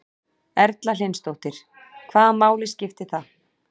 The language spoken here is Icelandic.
Erla Hlynsdóttir: Hvaða máli skiptir það?